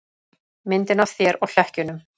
Myndina af þér og hlekkjunum.